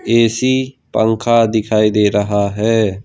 AC पंखा दिखाई दे रहा है।